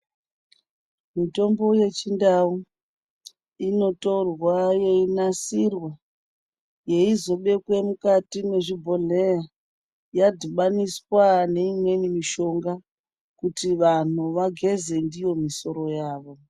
Mitombo yechindau initorwa yeinasirwa yeizobekwa mukati mezvibhohleya yadhibaniswa neimweni mishonga kuti vanhu vageze ndiyo misoro yavo.